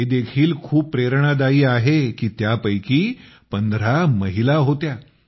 हे देखील खूप प्रेरणादायी आहे की त्यापैकी 15 महिला होत्या